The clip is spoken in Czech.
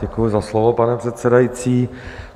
Děkuji za slovo, pane předsedající.